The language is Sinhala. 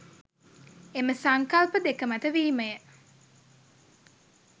එම සංකල්ප දෙක මත වීමය.